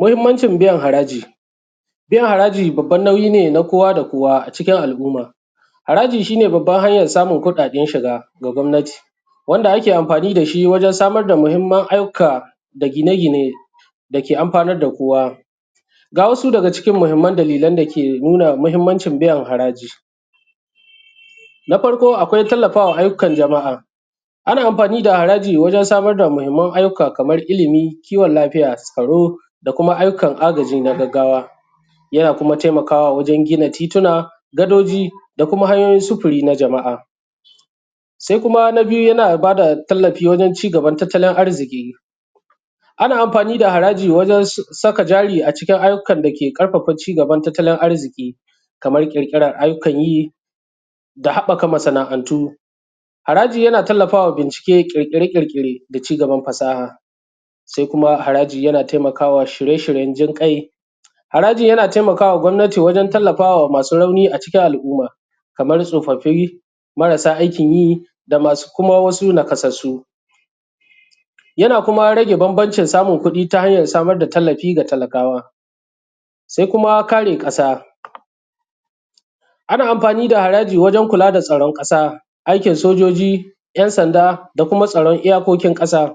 Mahimmancin biyan haraji. Biyan haraji babban nauyi ne na kowa da kowa a cikin al’umma. Haraji shi ne babban hanyan samun kuɗaɗen shiga ga gwamnati, wanda ake amfani da shi wajen samar da muhimman ayyuka da gine gine da ke amfanar da kowa. Ga wasu daga cikin muhimman dalilai da ke nuna mahimmancin biyan haraji, na farko akwai tallafa ma ayyukan jama'a, ana amfani da haraji wajen samar da muhimman ayyuka kamar ilimi, kiwon lafiya, tsaro da kuma ayyukan agaji na gaggawa. Yana kuma taimakawa wajen gina tituna, gadoji da kuma hanyoyin sufuri na jama'a. Sai kuma na biyu yana ba da tallafi wajen cigaban tattalin arziki, ana amfani da haraji wajen saka jari a cikin ayyukan da ke ƙarfafa cigaban tattalin arziki, kamar ƙirkiran ayyukan yi da haɓɓaka masana'antu. Haraji ya na tallafa ma bincike, ƙirƙire-ƙirƙire da cigaban ƙasa. Sai kuma haraji yana taimaka wa shirye-shiryen jin ƙai, haraji yana taimaka ma gwamnati wajen tallafa ma masu rauni a cikin al-umma, kamar tsofaffi, marasa aikin yi, da masu kuma nakasassu, yana kuma rage bambancin samun kudi ta hanyar samar da tallafi ga talakawa. Sai kuma kare ƙasa. Ana amfani da haraji wajen kula da tsaron ƙasa, aikin sojoji, 'yan sanda da kuma tsaron iya kokin ƙasa.